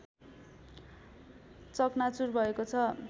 चक्नाचुर भएको छ